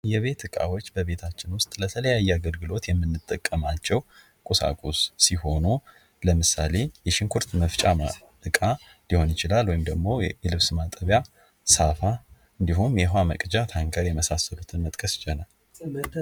የቤት ዕቃዎች ለመኖርያ ቤቶች ምቾትና ተግባራዊነት የሚውሉ እንደ ሶፋ፣ አልጋና ጠረጴዛ ያሉ ቁሳቁሶች ሲሆኑ የቢሮ ዕቃዎች ለሥራ ምቹ ሁኔታ ይፈጥራሉ።